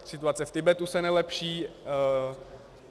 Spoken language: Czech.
Situace v Tibetu se nelepší.